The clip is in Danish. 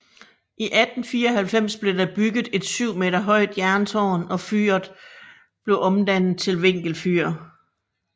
I 1894 blev der bygget et 7 m højt jerntårn og fyret blev omdannet til vinkelfyr